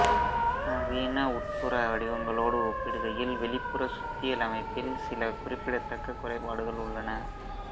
நவீன உட்புற வடிவங்களோடு ஒப்பிடுகையில் வெளிப்புற சுத்தியல் அமைப்பில் சில குறிப்பிடத்தக்க குறைபாடுகள் உள்ளன